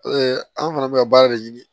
an fana bɛ ka baara de ɲini